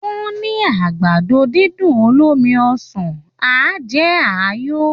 Wọ́n ní àgbàdo-dídùn olómi ọsàn á jẹ́ ààyò